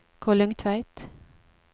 Kollungtveit